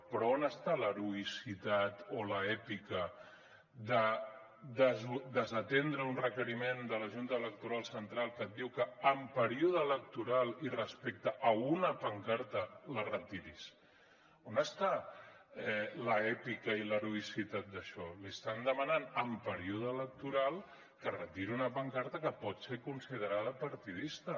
però on està l’heroïcitat o l’ètica de desatendre un requeriment de la junta electoral central que et diu que en període electoral i respecte a una pancarta la retiris on estan l’ètica i l’heroïcitat d’això li estan demanant en període electoral que retiri una pancarta que pot ser considerada partidista